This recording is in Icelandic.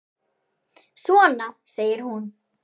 Svona! segir hún.